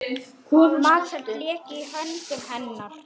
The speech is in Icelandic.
Matseld lék í höndum hennar.